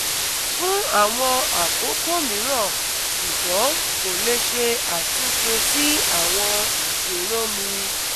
Fun awon akoko miran sugbon ko le se atunse si awon isoromi